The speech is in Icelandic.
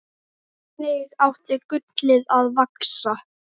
Þannig átti gullið að vaxa.